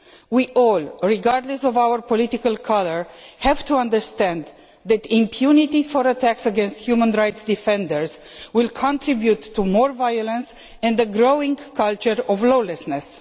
We all, regardless of our political colour, have to understand that impunity for attacks against human rights defenders will contribute to more violence and a growing culture of lawlessness.